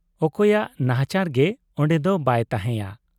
ᱚᱠᱚᱭᱟᱜ ᱱᱟᱦᱟᱪᱟᱨ ᱜᱮ ᱚᱱᱰᱮ ᱫᱚ ᱵᱟᱭ ᱛᱟᱦᱮᱸᱭᱟ ᱾